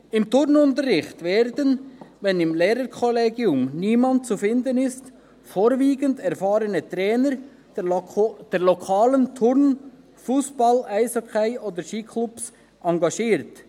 Im Turnunterricht werden, wenn im Lehrerkollegium niemand zu finden ist, vorwiegend erfahrene Trainer der lokalen Turn-, Fussball-, Eishockey oder Skiklubs engagiert.